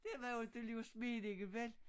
Det var jo ikke just meningen vel